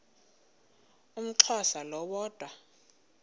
umxhosa lo woda